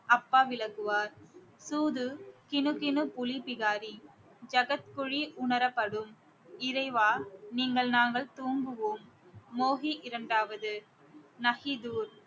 அப்பா விலகுவார் தூது கிணு கிணு புலி பிகாரி ஜகத்குழி உணரப்படும் இறைவா நீங்கள் நாங்கள் தூங்குவோம் மோகி இரண்டாவது